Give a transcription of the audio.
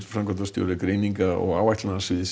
framkvæmdastjóri greininga og